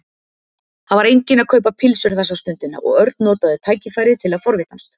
Það var enginn að kaupa pylsur þessa stundina og Örn notaði tækifærið til að forvitnast.